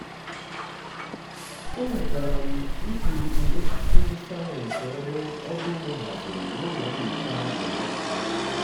e nwetara m mkpirikpi osisi ndi sayensị ọrụ ọrụ ugbo haziri na ụlọ nyocha na mmepụta